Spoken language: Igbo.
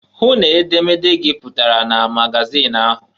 Hụ n' edemede gị pụtara na magazịn ahụ!